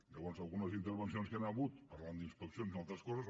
llavors algunes intervencions que hi han hagut parlant d’inspeccions i altres coses